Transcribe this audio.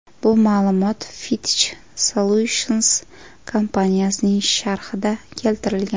Bu ma’lumot Fitch Solutions kompaniyasining sharhida keltirilgan.